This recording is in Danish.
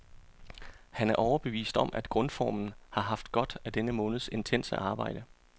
Han er overbevist om, at grundformen har haft godt af denne måneds intense arbejde.